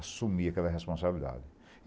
assumi aquela responsabilidade.